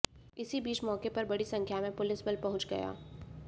इसी बीच मौके पर बड़ी संख्या में पुलिस बल पहुंच गया